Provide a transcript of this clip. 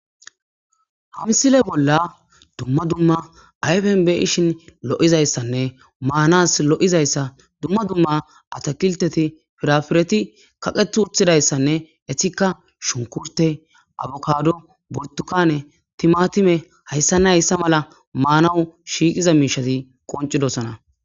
Ha misile bolla dumma dumma ayfen be'ishin lo'izaysanne maanas lo'izayssa dumma dumma atakilteti firafireti kaqeeti uttidayssanne eetika shunkurte, abokado, burtukane, timaatime hayssane hayssa mala maanaw shiiqiza miishshati qoncidosona.